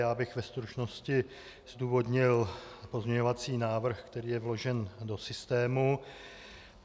Já bych ve stručnosti zdůvodnil pozměňovací návrh, který je vložen do systému.